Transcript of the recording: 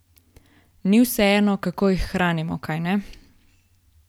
Ni vseeno, kako jih hranimo, kajne?